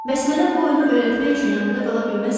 Bəs mənə bu oyunu öyrətmək üçün yanımda qala bilməzsənmi?